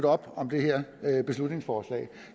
op om det her beslutningsforslag